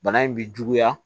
Bana in bi juguya